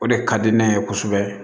O de ka di ne ye kosɛbɛ